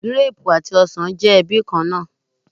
Gírápù àti ọsàn jẹ́ ẹbí kan náà.